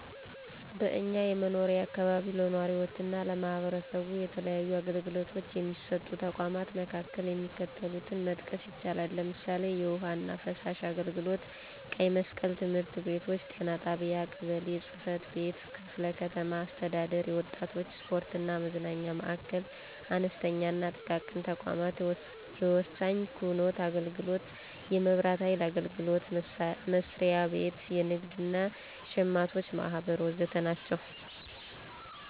በእኛ የመኖሪያ አካባቢ ለነዋሪዎችና ለማህበረሰቡ የተለያዩ አገልግሎቶች የሚሰጡ ተቋማት መካከል የሚከተሉትን መጥቀስ ይቻላል፦ ለምሳሌ፣ የውሀና ፍሳሽ አገልግሎት፣ ቀይ መስቀል፣ ትምህርት ቤቶች፣ ጤና ጣቢያ፣ ቀበሌ ጽፈት ቤት፣ ክፍለ ከተማ አስተዳደር፣ የወጣቶች ስፖርትና መዝናኛ ማዕከል፣ አነስተኛና ጥቃቅን ተቋማት፣ የወሳኝ ኩነት አገልግሎት፣ የመብራት ሀይል አገልግሎት መስሪያ ቤት፣ የንግድ እና ሸማቾች ማህበር ወዘተ ናቸው።